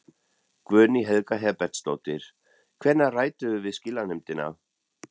Guðný Helga Herbertsdóttir: Hvenær ræddirðu við skilanefndina?